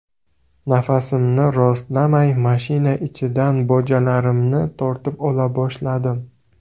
Nafasimni rostlamay, mashina ichidan bojalarimni tortib ola boshladim.